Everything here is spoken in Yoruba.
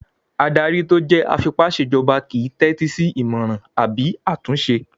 Adarí tó jẹ́ afipásèjọba kìí n tẹ́tí sí ìmọràn àbí àtúnṣe